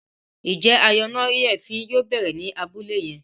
Njé ayọnáyèéfín yóò bẹrẹ ní Abúlé yén?